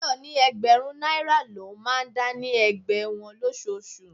Tayọ ni ẹgbẹ̀rún náírà lọ máa ń dá ní ẹgbẹ́ wọn losoosu.